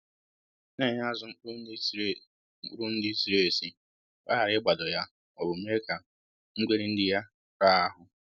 Na-enye azụ mkpụrụ nri ziri mkpụrụ nri ziri ezi ka ọ hara ị gbado ya ma ọ bụ mee ka ngweri nri ya raa ahụ